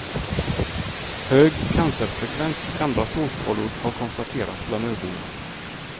Hög cancerfrekvens och andra strålskador har konstaterats bland öborna.